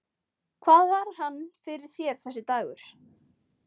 Hvað var hann fyrir þér, þessi dagur.